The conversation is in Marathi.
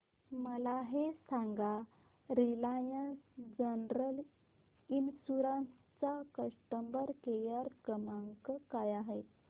मला हे सांग रिलायन्स जनरल इन्शुरंस चा कस्टमर केअर क्रमांक काय आहे